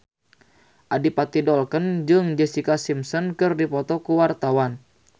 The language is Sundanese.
Adipati Dolken jeung Jessica Simpson keur dipoto ku wartawan